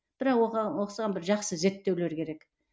бірақ осыған бір жақсы бір зерттеулер керек